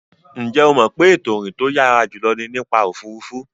Ǹjẹ́ o mọ̀ pé ètò ìrìn tó yàrá jùlọ ni nípa òfuurufú.